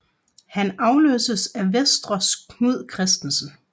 Han afløstes af Venstres Knud Kristensen